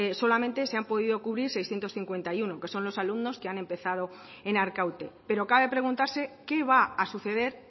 solo se han podido cubrir seiscientos cincuenta y uno que son los alumnos que han empezado en arkaute pero cabe preguntarse qué va a suceder